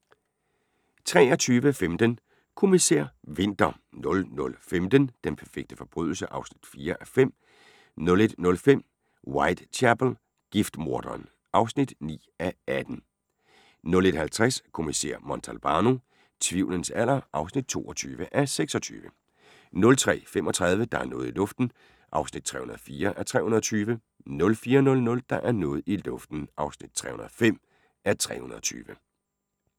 23:15: Kommissær Winter 00:15: Den perfekte forbrydelse? (4:5) 01:05: Whitechapel: Giftmorderen (9:18) 01:50: Kommissær Montalbano: Tvivlens alder (22:26) 03:35: Der er noget i luften (304:320) 04:00: Der er noget i luften (305:320)